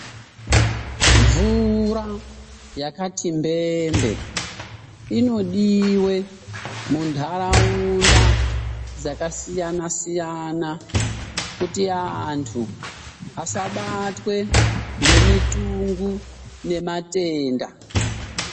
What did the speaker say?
Mvura yakati mbembe inodiwe muntharaunda dzakasiyana siyana kuti anthu asabatwe ngemitungu nematenda.